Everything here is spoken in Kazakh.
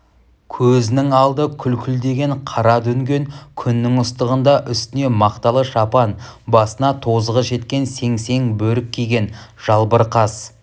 көзінің алды күлкілдеген қара дүнген күннің ыстығында үстіне мақталы шапан басына тозығы жеткен сеңсең бөрік киген жалбыр қас